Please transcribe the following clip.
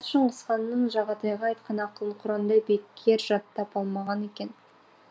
шыңғысханның жағатайға айтқан ақылын құрандай бекер жаттап алмаған екен